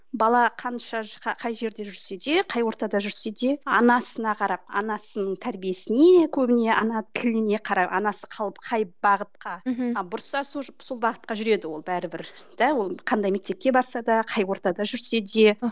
бала қай жерде жүрсе де қай ортада да жүрсе де анасына қарап анасының тәрбиесіне көбіне ана тіліне қарап анасы қалып қай бағытқа мхм бұрса сол бағытқа жүреді ол бәрібір де ол қандай мектепке барса да қай ортада жүрсе де